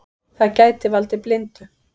Það gæti valdið blindu.